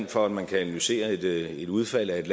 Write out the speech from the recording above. for at man kan analysere et udfald af et